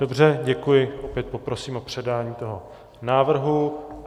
Dobře, děkuji, opět poprosím o předání toho návrhu.